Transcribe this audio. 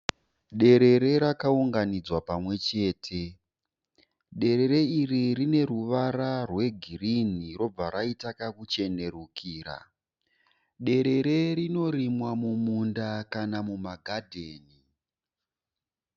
Derere rakaunganidzwa pamwe chete. Derere iri rine ruvara rwegirinhi robva raita kakuchenerukira. Dererere rinorimwa mumunda kana mumagadheni.